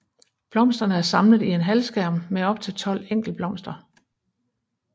Blomsterne er samlet i en halvskærm med op til tolv enkeltblomster